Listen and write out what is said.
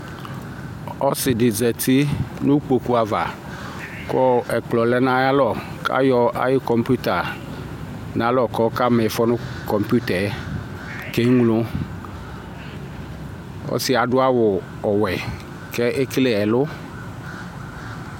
Ɔsɩ dɩ zati nʋ kpoku ava kʋ ɛkplɔ lɛ nʋ ayalɔ kʋ ayɔ ayʋ kɔmpuita nʋ alɔ kʋ ɔkama ɩfɔ nʋ kɔmpuita yɛ keŋlo Ɔsɩ yɛ adʋ awʋ ɔwɛ kʋ ekele ɛlʋ